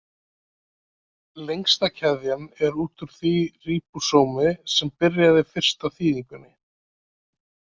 Lengsta keðjan er út úr því ríbósómi sem byrjaði fyrst á þýðingunni.